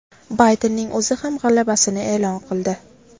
Baydenning o‘zi ham g‘alabasini e’lon qildi.